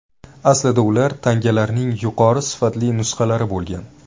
Aslida ular tangalarning yuqori sifatli nusxalari bo‘lgan.